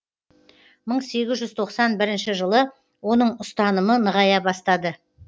мың сегіз жүз тоқсан бірінші жылы оның ұстанымы нығая бастады